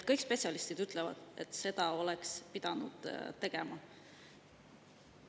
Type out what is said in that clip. Kõik spetsialistid ütlevad, et seda oleks pidanud tegema.